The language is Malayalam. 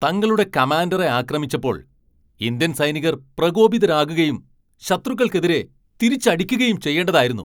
തങ്ങളുടെ കമാൻഡറെ ആക്രമിച്ചപ്പോൾ ഇന്ത്യൻ സൈനികർ പ്രകോപിതരാകുകയും ശത്രുക്കൾക്കെതിരെ തിരിച്ചടിക്കുകയും ചെയ്യേണ്ടതായിരുന്നു.